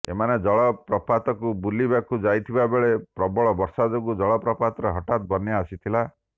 ଏମାନେ ଜଳ ପ୍ରପାତକୁ ବୁଲିବାକୁ ଯାଇଥିବା ବେଳେ ପ୍ରବଳବର୍ଷା ଯୋଗୁଁ ଜଳ ପ୍ରପାତରେ ହଠାତ୍ ବନ୍ୟା ଆସିଥିଲା